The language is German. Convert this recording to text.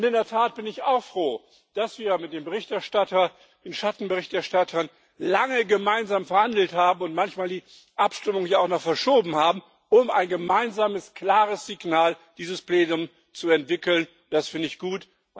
Und in der Tat bin ich auch froh, dass wir mit dem Berichterstatter und den Schattenberichterstattern lange gemeinsam verhandelt haben und manchmal die Abstimmung auch noch verschoben haben, um ein gemeinsames klares Signal dieses Plenums zu entwickeln, das finde ich gut.